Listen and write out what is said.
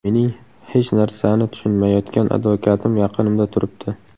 Mening hech narsani tushunmayotgan advokatim yaqinimda turibdi.